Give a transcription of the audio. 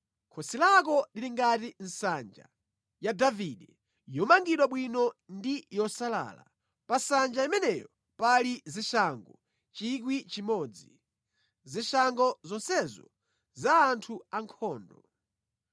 Khosi lako lili ngati nsanja ya Davide, yomangidwa bwino ndi yosalala; pa nsanja imeneyo pali zishango 1,000, zishango zonsezo za anthu ankhondo.